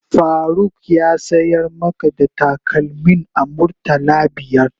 Faruk ya sayar maka da takalmin a murtala biyar?